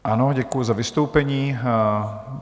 Ano, děkuji za vystoupení.